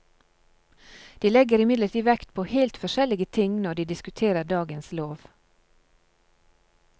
De legger imidlertid vekt på helt forskjellige ting når de diskuterer dagens lov.